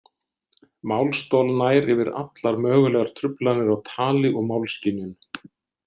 Málstol nær yfir allar mögulegar truflanir á tali og málskynjun.